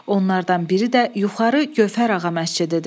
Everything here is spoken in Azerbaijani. Onlardan biri də yuxarı Gövhər ağa məscididir.